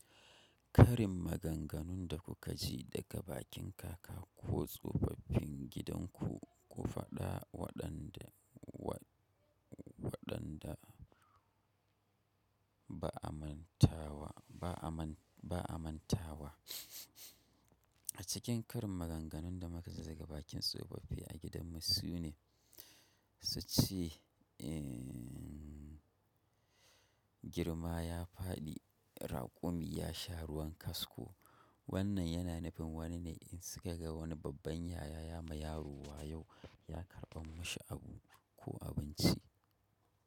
Karin maganganun da kuka ji daga bakin kaka ko tsofaffin gidanku ku faɗa waɗan da waɗanda ba a manta wa. A cikin karin maganganun da muka ziga bakin tsofaffi a gidanmu su ne, su ce girma ya faɗi, raƙumi ya sha ruwan kasko. Wannan yana nufin wane ne in suka ga wani babban yaya ya ma yaro wa yau ya karɓa mashi abu ko abinci.